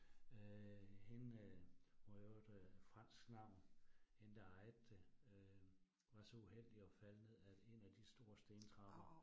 Øh hende hun har i øvrigt øh fransk navn hende der ejede det, øh var så uheldig at falde ned af 1 af de store stentrapper